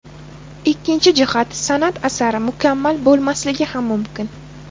Ikkinchi jihat san’at asari mukammal bo‘lmasligi ham mumkin.